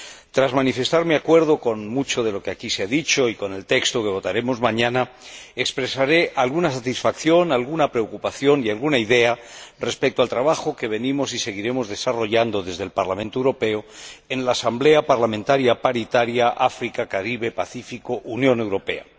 Tras manifestar mi acuerdo con mucho de lo que aquí se ha dicho y con el texto que votaremos mañana, expresaré alguna satisfacción, alguna preocupación y alguna idea respecto al trabajo que venimos y seguiremos desarrollando desde el Parlamento Europeo en la Asamblea Parlamentaria Paritaria África, Caribe, Pacífico Unión Europea.